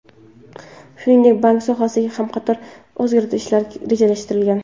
Shuningdek, bank sohasida ham qator o‘zgarishlar rejalashtirilgan.